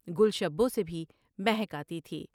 گل شبو سے بھی مہک آتی تھی ۔